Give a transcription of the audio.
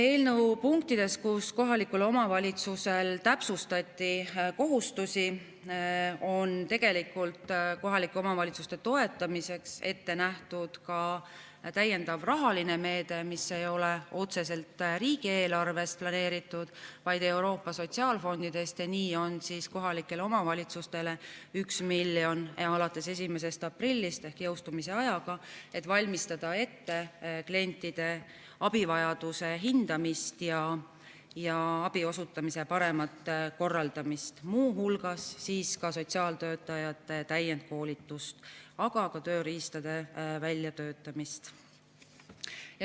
Eelnõu punktides, kus kohaliku omavalitsuse kohustusi täpsustati, on kohalike omavalitsuste toetamiseks ette nähtud ka täiendav rahaline meede, mis ei ole planeeritud otseselt riigieelarvest, vaid Euroopa Sotsiaalfondist, ja nii on kohalikele omavalitsustele 1 miljon alates 1. aprillist, ehk selle jõustumiseni on aega, et valmistada ette klientide abivajaduse hindamist ja abi osutamise paremat korraldamist, muu hulgas sotsiaaltöötajate täiendkoolitust, aga ka tööriistade väljatöötamist.